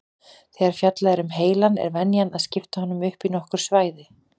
Þegar fjallað er um heilann er venjan að skipta honum upp í nokkur svæði.